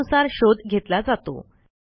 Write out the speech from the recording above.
त्यानुसार शोध घेतला जातो